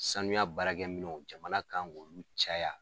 Sanuya baarakɛ minɛnw jamana kan k'ulu caya.